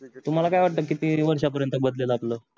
तुम्हाला काय वाटत किती वर्षा पर्यंत बदलेल आपल